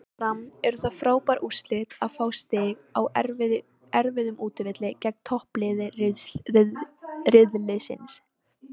Fyrirfram eru það frábær úrslit að fá stig á erfiðum útivelli gegn toppliði riðilsins.